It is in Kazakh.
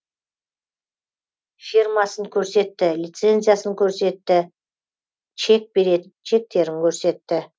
фирмасын көрсетті лицензиясын көрсетті чек беретін чектерін көрсетті